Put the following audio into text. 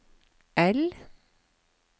I